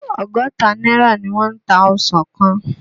Ọgọ́ta náírà ni wọ́n ń ta ọsàn kan.